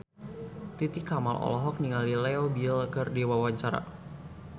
Titi Kamal olohok ningali Leo Bill keur diwawancara